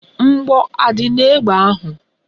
Mgbọ adị n'egbe ahụ?